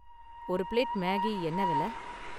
ஒரு plate Maggi என்ன வெல?